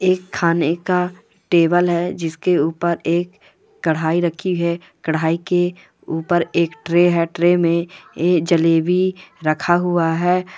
एक खाने का टेबल है जिस के उपर एक कढ़ाई रखी है कढ़ाई के उपर एक ट्रे है ट्रेन मे ये जलेबी रखा हुआ है।